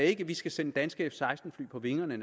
ikke at vi skal sende danske f16 fly på vingerne